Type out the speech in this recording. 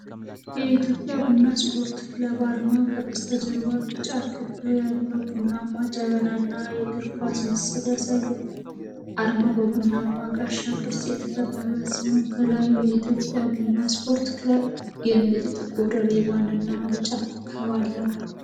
የኢትዮጵያ ቡና ስፖርት ክለብ አርማ፣ ከበስተጀርባ ቢጫ ክብ ያለው ቡናማ ጀበናና የእግር ኳስ ምስል ያሳያል። አርማው በቡናማ ጋሻ ቅርጽ የተከበበ ሲሆን፣ ከላይ "የኢትዮጵያ ቡና ስፖርት ክለብ" የሚል ጥቁር ሪባንና ቢጫ ኮከብ አለው።